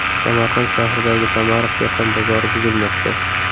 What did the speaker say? Samarqand shahridagi Damariq dehqon bozori buzilmoqda.